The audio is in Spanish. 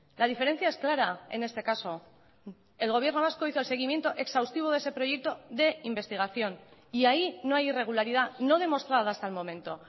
la diferencia es clara en este caso el gobierno vasco hizo el seguimiento exhaustivo de ese proyecto de investigación y ahí no hay irregularidad no demostrada hasta el momento